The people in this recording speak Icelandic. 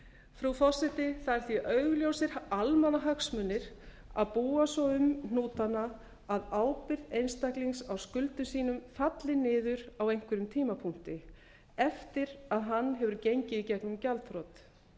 frú forseti það eru því augljósir almannahagsmunir að búa svo um hnútana að ábyrgð einstaklings á skuldum sínum falli niður á einhverjum tímapunkti eftir að hann hefur gengið í gegnum gjaldþrot